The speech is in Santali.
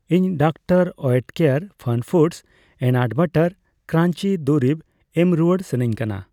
ᱤᱧ ᱰᱟᱠᱛᱟᱨ ᱳᱭᱮᱴᱠᱮᱨ ᱯᱷᱟᱱᱯᱷᱩᱰᱚᱥ ᱚᱤᱱᱟᱴ ᱵᱟᱨᱟᱴ ᱠᱨᱟᱧᱡᱤ ᱫᱩᱨᱤᱵᱽ ᱮᱢ ᱨᱩᱣᱟᱹᱲ ᱥᱟᱹᱱᱟᱧ ᱠᱟᱱᱟ ᱾